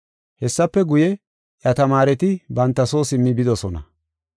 Hessafe guye, iya tamaareti banta soo simmi bidosona.